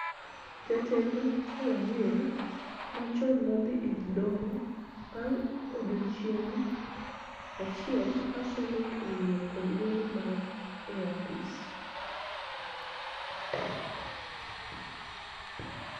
Jatend Wajir machon nodhi e doho bang� odiechieng� achiel ka Senet oyie kod golo mare e apis,